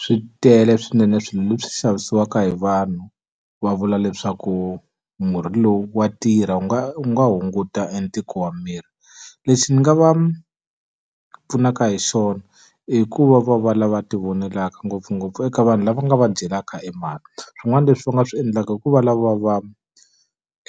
Swi tele swinene swilo leswi xavisiwaka hi vanhu, va vula leswaku murhi lowu wa tirha wu nga wu nga hunguta e ntiko wa miri. Lexi ni nga va pfunaka hi xona i ku va va va lava tivonelaka ngopfungopfu eka vanhu lava nga va dyelaka e mali. Swin'wana leswi va nga swi endlaka i ku va lava va